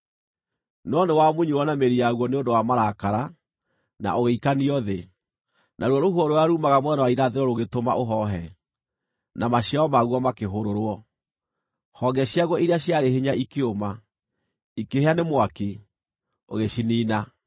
No nĩwamunyirwo na mĩri yaguo nĩ ũndũ wa marakara, na ũgĩikanio thĩ. Naruo rũhuho rũrĩa ruumaga mwena wa irathĩro rũgĩtũma ũhoohe, na maciaro maguo makĩhũrũrwo; honge ciaguo iria ciarĩ hinya ikĩũma, ikĩhĩa nĩ mwaki, ũgĩciniina.